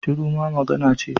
Shiru ma magana ce